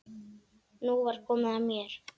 Nú var komið að mér.